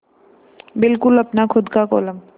बिल्कुल अपना खु़द का कोलम